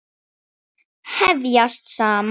Vefjast saman.